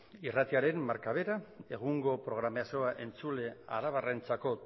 irratiaren marka bera egungo programazioa entzule arabarrentzako